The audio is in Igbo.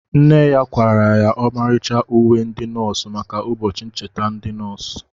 Nne ya kwara ya ọmarịcha uwe ndi nọọsụ maka ụbọchị ncheta ndi nọọsụ